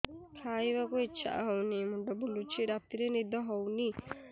ଖାଇବାକୁ ଇଛା ହଉନି ମୁଣ୍ଡ ବୁଲୁଚି ରାତିରେ ନିଦ ହଉନି